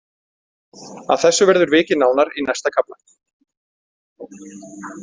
Að þessu verður vikið nánar í næsta kafla.